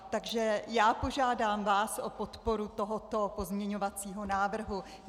Takže já požádám vás o podporu tohoto pozměňovacího návrhu.